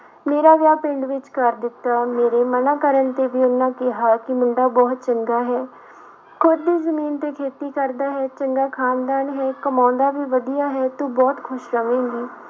ਮੇਰਾ ਵਿਆਹ ਪਿੰਡ ਵਿੱਚ ਕਰ ਦਿੱਤਾ, ਮੇਰੇ ਮਨਾ ਕਰਨ ਤੇ ਵੀ ਉਹਨਾਂ ਕਿਹਾ ਕਿ ਮੁੰਡਾ ਬਹੁਤ ਚੰਗਾ ਹੈ ਖੁੱਦ ਦੀ ਜ਼ਮੀਨ ਤੇ ਖੇਤੀ ਕਰਦਾ ਹੈ, ਚੰਗਾ ਖਾਨਦਾਨ ਹੈ ਕਮਾਉਂਦਾ ਵੀ ਵਧੀਆ ਹੈ, ਤੂੰ ਬਹੁਤ ਖ਼ੁਸ਼ ਰਵੇਂਗੀ।